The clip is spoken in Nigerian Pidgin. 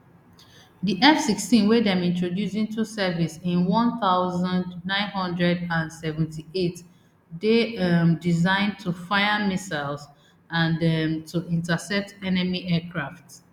di fsixteen wey dem introduce into service in one thousand, nine hundred and seventy-eight dey um designed to fire missiles and um to intercept enemy aircraft